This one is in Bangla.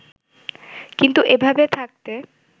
কিন্তু এভাবে থাকতে